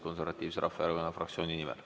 Konservatiivse Rahvaerakonna fraktsiooni nimel.